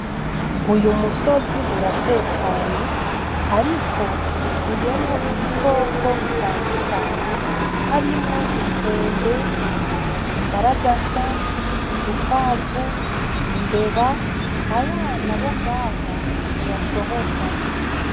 Uyumusozi uratekanye ariko w’uzuyemwo ibikoko bitandukanye harimwo inkende, imbaragasa, udukwamvu, imbeba, abana bongaha ntibasohoka.